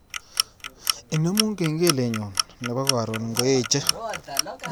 Inemu kengelenyu nebo karon ngoeche